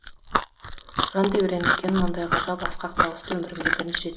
жан тебіренткен мұндай ғажайып асқақ дауысты өмірімде бірінші рет